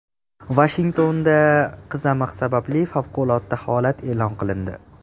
Vashingtonda qizamiq sababli favqulodda holat e’lon qilindi.